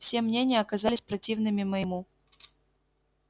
все мнения оказались противными моему